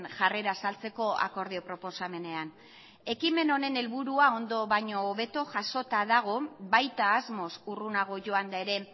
jarrera azaltzeko akordio proposamenean ekimen honen helburua ondo baino hobeto jasota dago baita asmoz urrunago joan da ere